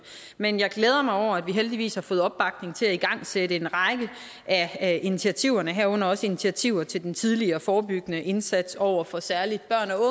men jeg glæder mig over at vi heldigvis har fået opbakning til at igangsætte en række af initiativerne herunder også initiativer til den tidligere forebyggende indsats over for særlig